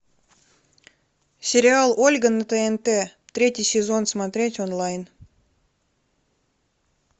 сериал ольга на тнт третий сезон смотреть онлайн